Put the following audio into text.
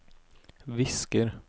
visker